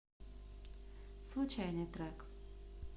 случайный трек